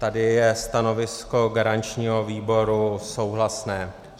Tady je stanovisko garančního výboru souhlasné.